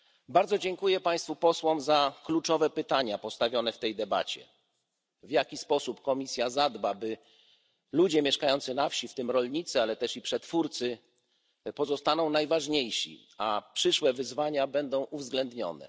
Bardzo dziękuję Państwu Posłom za kluczowe pytania postawione w tej debacie. W jaki sposób Komisja zadba, by ludzie mieszkający na wsi, w tym rolnicy, ale też przetwórcy, pozostali najważniejsi, a przyszłe wyzwania zostały uwzględnione?